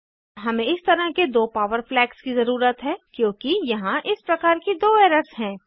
हमें इस तरह के दो पॉवर फ्लैग्स की ज़रुरत है क्योंकि यहाँ इस प्रकार की दो एरर्स हैं